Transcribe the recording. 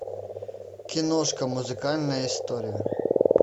киношка музыкальная история